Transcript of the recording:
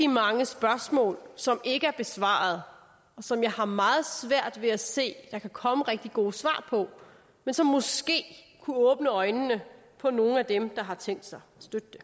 mange spørgsmål som ikke er besvaret og som jeg har meget svært ved at se at der kan komme rigtig gode svar på men som måske kunne åbne øjnene på nogle af dem der har tænkt sig at støtte det